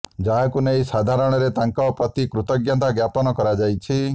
ଯାହାକୁ ନେଇ ସାଧାରଣରେ ତାଙ୍କ ପ୍ରତି କୃତଜ୍ଞତା ଜ୍ଞାପନ କରାଯାଇଛି